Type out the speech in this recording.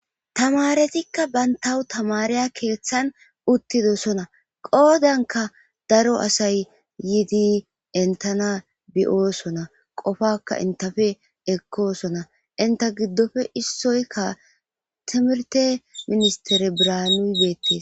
tamaretikka bayntawu tamareya keeththan uttidosona qoodanka daro asay yiidi entana biyoosona qofaka intafe ekkosona inta giddofe issoykka timirte ministere branu geette